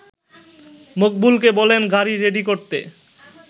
মকবুলকে বলেন গাড়ি রেডি করতে